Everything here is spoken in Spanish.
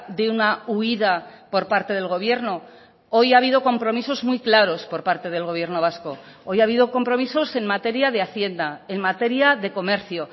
de una huida por parte del gobierno hoy ha habido compromisos muy claros por parte del gobierno vasco hoy ha habido compromisos en materia de hacienda en materia de comercio